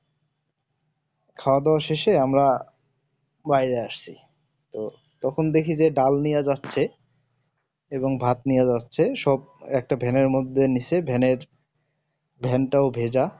খাওয়াদাওয়া শেষে আমরা বাইরে আসছি তো তখন দেখছি যে ডাল নিয়া যাচ্ছে এবং ভাত নিয়ে যাচ্ছে সব একটা van এর মধ্যে নিচ্ছে van এর van তও ভেজা